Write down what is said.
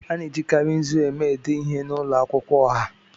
A na-ejikarị nzu eme ede ihe n'ụlọ akwụkwọ ọha.